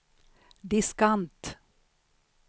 diskant